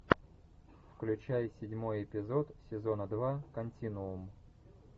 включай седьмой эпизод сезона два континуум